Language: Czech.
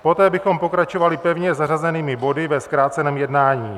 Poté bychom pokračovali pevně zařazenými body ve zkráceném jednání.